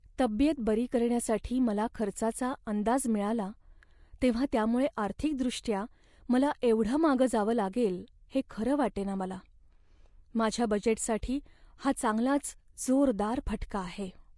तब्येत बरी करण्यासाठी मला खर्चाचा अंदाज मिळाला तेव्हा त्यामुळे आर्थिकदृष्ट्या मला एवढं मागं जावं लागेल हे खरं वाटेना मला. माझ्या बजेटसाठी हा चांगलाच जोरदार फटका आहे.